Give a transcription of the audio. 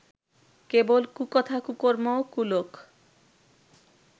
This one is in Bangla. কেবল কুকথা কুকর্ম ও কুলোক